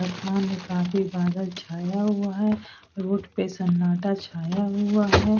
आसमान में काफी बादल छाया हुआ है रोड पे सन्नाटा छाया हुआ है।